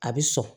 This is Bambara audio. A bɛ sɔn